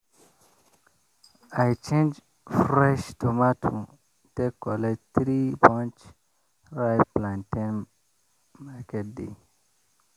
i change fresh tomato take collect three bunch ripe plantain market day